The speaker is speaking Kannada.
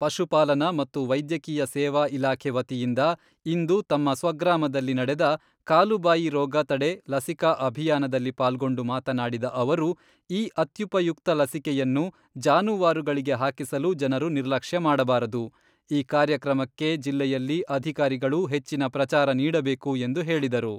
ಪಶು ಪಾಲನಾ ಮತ್ತು ವೈದ್ಯಕೀಯ ಸೇವಾ ಇಲಾಖೆ ವತಿಯಿಂದ ಇಂದು ತಮ್ಮ ಸ್ವಗ್ರಾಮದಲ್ಲಿ ನಡೆದ ಕಾಲುಬಾಯಿ ರೋಗ ತಡೆ ಲಸಿಕಾ ಅಭಿಯಾನದಲ್ಲಿ ಪಾಲ್ಗೊಂಡು ಮಾತನಾಡಿದ ಅವರು, ಈ ಅತ್ಯುಪಯುಕ್ತ ಲಸಿಕೆಯನ್ನು ಜಾನುವಾರುಗಳಿಗೆ ಹಾಕಿಸಲು ಜನರು ನಿರ್ಲಕ್ಷ್ಯ ಮಾಡಬಾರದು, ಈ ಕಾರ್ಯಕ್ರಮಕ್ಕೆ ಜಿಲ್ಲೆಯಲ್ಲಿ ಅಧಿಕಾರಿಗಳು ಹೆಚ್ಚಿನ ಪ್ರಚಾರ ನೀಡಬೇಕು ಎಂದು ಹೇಳಿದರು.